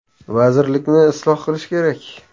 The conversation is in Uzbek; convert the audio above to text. Vazirlikni isloh qilish kerak.